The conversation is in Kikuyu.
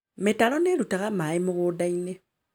Mĩtaro nĩrutaga maaĩ mũgũnda-inĩ